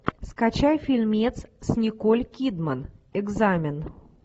скачай фильмец с николь кидман экзамен